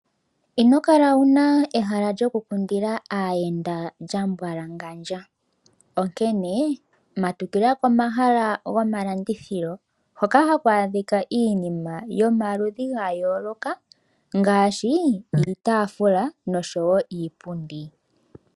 Ino kala wu na ehala lyokukundila aayenda lya mbwalangandja, onkene matukila komahala gomalandithilo, hoka haku adhika iinima yomaludhi ga yooloka ngaashi iitaafula noshowo iipundi.